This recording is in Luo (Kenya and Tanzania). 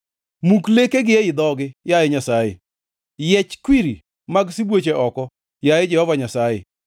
Muk lekegi ei dhogi, yaye Nyasaye, yiech kwiri mag sibuoche oko, yaye Jehova Nyasaye!